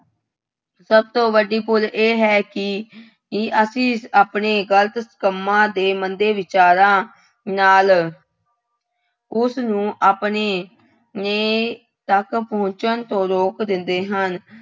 ਸਭ ਤੋਂ ਵੱਡੀ ਭੁੱਲ ਇਹ ਹੈ ਕਿ ਕਿ ਅਸੀਂ ਆਪਣੇ ਗਲਤ ਕੰਮਾਂ ਅਤੇ ਮੰਦੇ ਵਿਚਾਰਾਂ ਨਾਲ ਉਸਨੂੰ ਆਪਣੇ ਨੇ ਤੱਕ ਪਹੁੰਚਣ ਰੋਕ ਦਿੰਦੇ ਹਨ।